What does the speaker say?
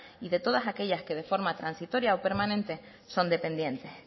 y de todas aquellas que de forma transitoria o permanente son dependientes